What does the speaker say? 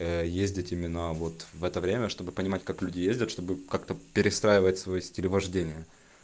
а ездить именно вот в это время чтобы понимать как люди ездят чтобы как-то перестраивать свой стиль вождения